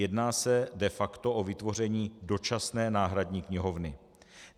Jedná se de facto o vytvoření dočasné náhradní knihovny.